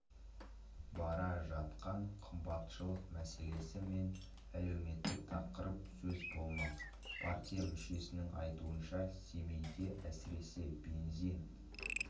бара жатқан қымбатшылық мәселесі мен әлеуметтік тақырып сөз болмақ партия мүшесінің айтуынша семейде әсіресе бензин